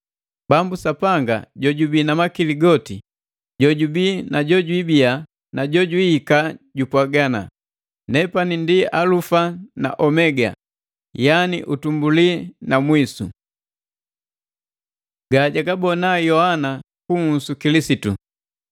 Bambu Sapanga jojubi na makili goti, jojubi na jojwabii na jojwiika jupwaga: “Nepani ndi Alufa na Omega, yani utumbuli na mwisu.” Gajagabona Yoani kuhusu Kilisitu